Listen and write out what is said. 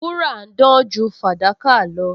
Wúrà ń dán ju fàdákà lọ